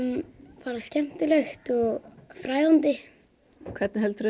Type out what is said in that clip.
bara skemmtilegt og fræðandi hvernig heldurðu að